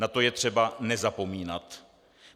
Na to je třeba nezapomínat.